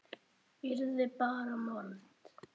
Yrði bara mold.